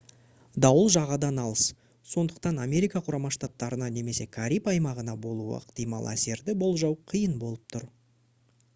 дауыл жағадан алыс сондықтан америка құрама штаттарына немесе кариб аймағына болуы ықтимал әсерді болжау қиын болып тұр